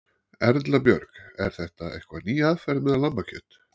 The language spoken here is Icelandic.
Erla Björg: Er þetta eitthvað ný aðferð með lambakjöt?